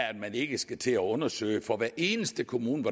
at man ikke skal til at undersøge sig for hver eneste kommunes